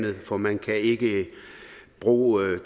for man kan ikke bruge